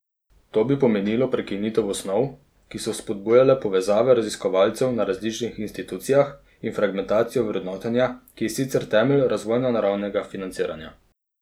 To bi pomenilo prekinitev osnov, ki so spodbujale povezave raziskovalcev na različnih institucijah, in fragmentacijo vrednotenja, ki je sicer temelj razvojno naravnanega financiranja.